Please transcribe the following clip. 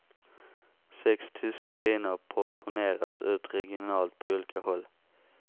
Sex tyska viner portioneras ut regionalt på olika håll.